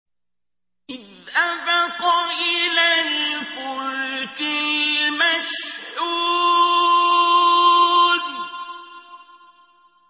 إِذْ أَبَقَ إِلَى الْفُلْكِ الْمَشْحُونِ